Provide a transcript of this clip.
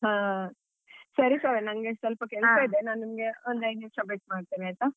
ಹಾ ಸರಿ ಶ್ರಾವ್ಯ ನನ್ಗೆ ಸ್ವಲ್ಪ ಕೆಲ್ಸ ಇದೆ ನಾನ್ ನಿಂಗೆ ಒಂದ್ ಐದು ನಿಮ್ಶ ಬಿಟ್ ಮಾಡ್ತೆ ಆಯ್ತಾ.